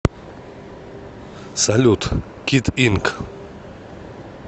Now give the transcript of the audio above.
салют кид инк